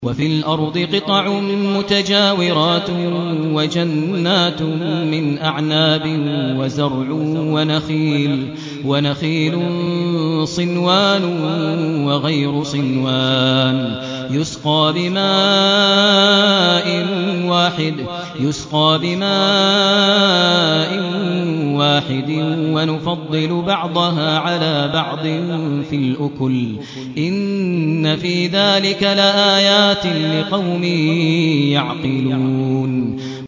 وَفِي الْأَرْضِ قِطَعٌ مُّتَجَاوِرَاتٌ وَجَنَّاتٌ مِّنْ أَعْنَابٍ وَزَرْعٌ وَنَخِيلٌ صِنْوَانٌ وَغَيْرُ صِنْوَانٍ يُسْقَىٰ بِمَاءٍ وَاحِدٍ وَنُفَضِّلُ بَعْضَهَا عَلَىٰ بَعْضٍ فِي الْأُكُلِ ۚ إِنَّ فِي ذَٰلِكَ لَآيَاتٍ لِّقَوْمٍ يَعْقِلُونَ